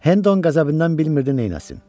Hendon qəzəbindən bilmirdi nə etsin.